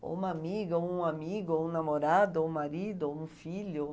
Ou uma amiga, ou um amigo, ou um namorado, ou um marido, ou um filho.